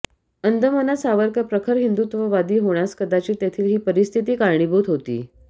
अंदमानात सावरकर प्रखर हिंदुत्ववादी होण्यास कदाचित तेथील ही परिस्थिती कारणीभूत होती